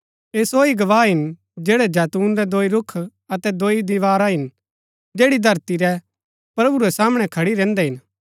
ऐह सो ही गवाह हिन जैड़ै जैतून रै दोई रूख अतै दोई दीवारा हिन जैड़ी धरती रै प्रभु रै सामणै खड़ी रैहन्दै हिन